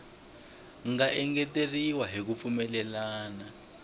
nga engeteriwa hi ku pfumelelana